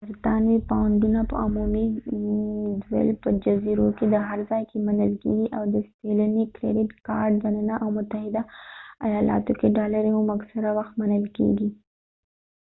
برطانوي پاونډونه په عمومي دول په جزیرو کې هر ځای کې منل کيږي او د ستېنلي کرېډټ کارډ دننه او متحده ایالاتو کې ډالرې هم اکثره وخت منل کیږي